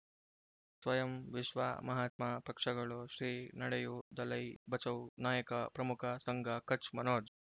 ಸ್ವಯಂ ವಿಶ್ವ ಮಹಾತ್ಮ ಪಕ್ಷಗಳು ಶ್ರೀ ನಡೆಯೂ ದಲೈ ಬಚೌ ನಾಯಕ ಪ್ರಮುಖ ಸಂಘ ಕಚ್ ಮನೋಜ್